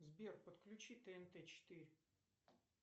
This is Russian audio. сбер подключи тнт четыре